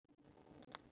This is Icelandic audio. Þó þeir slást um margt.